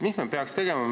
Mis me peaks tegema?